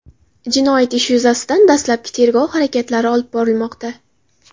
Jinoyat ishi yuzasidan dastlabki tergov harakatlari olib borilmoqda.